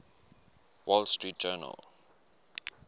wall street journal